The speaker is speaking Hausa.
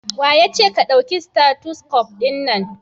Waye yace ka dauki stethoscope din nan?